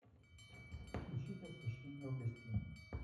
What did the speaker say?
включить освещение в гостиной